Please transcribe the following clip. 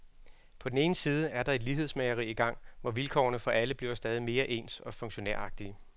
På den ene side er der et lighedsmageri i gang, hvor vilkårene for alle bliver stadig mere ens og funktionæragtige.